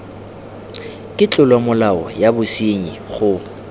ke tlolomolao ya bosenyi go